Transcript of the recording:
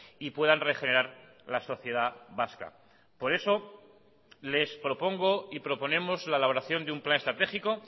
y puedan regenerar la sociedad vasca por eso les propongo y proponemos la elaboración de un plan estratégico